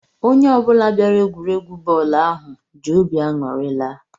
Onye ọ bụla bịara egwuregwu bọọlu ahụ jị óbị aṅụri laa.